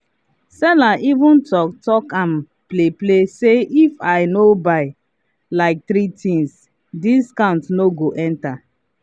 seller even talk talk am play play say if i no buy like three things discount no go enter.